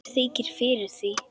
Mér þykir fyrir því.